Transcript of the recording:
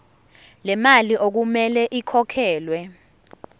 lemali okumele ikhokhelwe